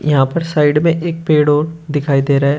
यहां पर साइड में एक पेड़ और दिखाई दे रहा है।